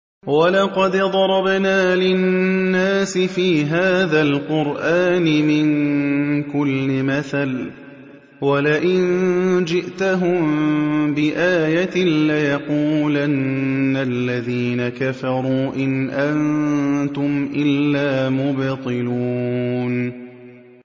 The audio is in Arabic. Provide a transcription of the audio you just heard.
وَلَقَدْ ضَرَبْنَا لِلنَّاسِ فِي هَٰذَا الْقُرْآنِ مِن كُلِّ مَثَلٍ ۚ وَلَئِن جِئْتَهُم بِآيَةٍ لَّيَقُولَنَّ الَّذِينَ كَفَرُوا إِنْ أَنتُمْ إِلَّا مُبْطِلُونَ